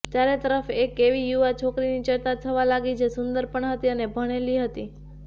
ચારેતરફ એક એવી યુવા છોકરીની ચર્ચા થવા લાગી જે સુંદર પણ હતી અને ભણેલી હતી